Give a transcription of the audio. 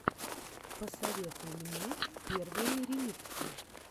посоветуй мне первые ремиксы